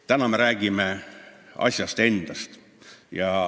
Täna me räägime asjast endast.